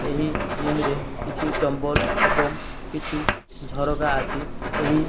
ଏହି ଯିମ୍ ରେ କିଛି ଡମ୍ବଲ ଏବଂ କିଛି ଝରକା ଅଛି। ଏହି --